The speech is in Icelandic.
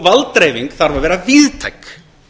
valddreifing þarf að vera víðtæk